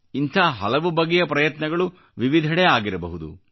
ಇಂಥ ಹಲವು ಬಗೆಯ ಪ್ರಯತ್ನಗಳು ವಿವಿಧೆಡೆ ಆಗಿರಬಹುದು